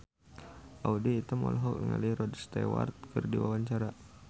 Audy Item olohok ningali Rod Stewart keur diwawancara